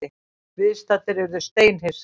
Viðstaddir urðu steinhissa.